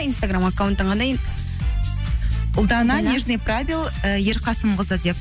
инстаграм аккаунтың қандай ұлдана і ерқасымқызы деп